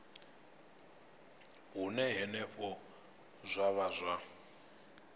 hune henefho zwa vha zwa